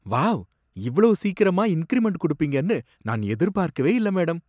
wow, இவ்ளோ சீக்கிரமா increment குடுப்பீங்கன்னு நான் எதிர் பார்க்கவே இல்ல, மேடம்